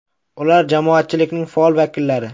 Ular jamoatchilikning faol vakillari.